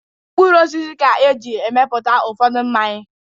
Mkpụrụ osisi ka e jiri mepụta ụfọdụ mmanya.